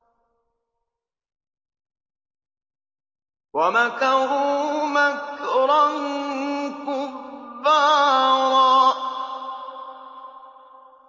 وَمَكَرُوا مَكْرًا كُبَّارًا